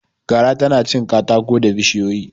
Gara tana cin katako da bishiyoyi.